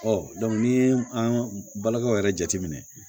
n'i ye an ka balokɛw yɛrɛ jateminɛ